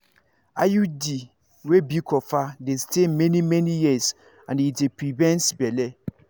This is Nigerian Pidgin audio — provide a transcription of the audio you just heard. iud wey be copper dey stay many-many years and e dey prevent belle.